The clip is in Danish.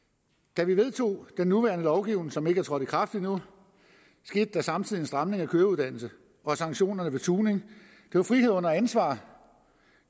da vi vedtog den nuværende lovgivning som ikke er trådt i kraft endnu skete der samtidig en stramning af køreuddannelsen og af sanktionerne ved tuning det var frihed under ansvar